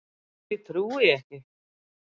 Því trúi ég ekki.